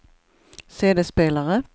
CD-spelare